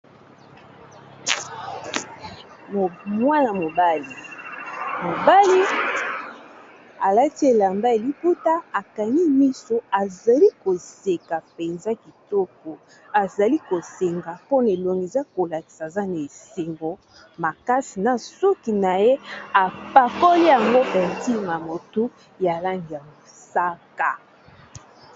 mwana mobali ,alati elamba ya liputa ya ba langi mingi, azali koseka penza , na suki na ye ati balangi ya mosaka.